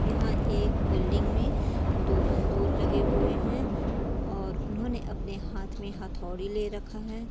यहाँ एक बिल्डिंग में दो मजदूर लगे हुए हैं और उन्होंने अपने हाथ में हथोड़ी ले रखा है।